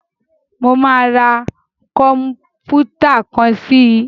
Mo máa ra kọ̀m̀pútà kan sí i.